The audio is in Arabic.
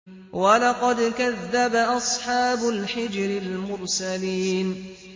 وَلَقَدْ كَذَّبَ أَصْحَابُ الْحِجْرِ الْمُرْسَلِينَ